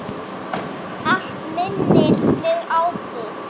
Allt minnir mig á þig.